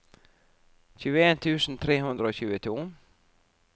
tjueen tusen tre hundre og tjueto